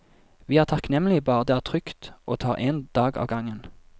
Vi er takknemlige bare det er trygt og tar en dag av gangen.